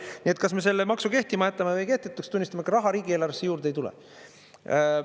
Nii et kas me selle maksu kehtima jätame või kehtetuks tunnistame, ega raha riigieelarvesse juurde ei tule.